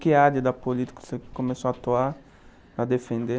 Que área da política você começou a atuar, a defender?